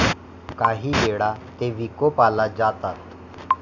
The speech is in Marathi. कांही वेळा ते विकोपाला जातात.